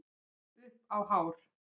Upp á hár